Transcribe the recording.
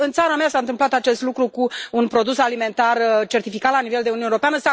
Și în țara mea s a întâmplat acest lucru cu un produs alimentar certificat la nivel de Uniune Europeană.